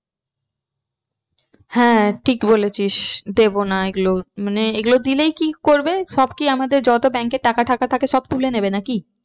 হ্যাঁ ঠিক বলেছিস দেবো না এগুলো মানে এইগুলো দিলেই কি করবে সব কি আমাদের যত bank এ টাকা থাকে সব তুলে নেবে নাকি?